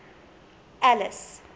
alice